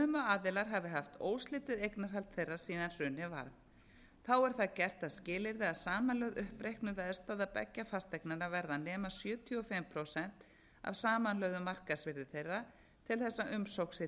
aðilar hafi haft óslitið eignarhald þeirra síðan hrunið varð þá er það gert að skilyrði að samanlögð uppreiknuð veðstaða beggja fasteignanna verði að nema sjötíu og fimm prósent af samanlögðu markaðsvirði þeirra til þess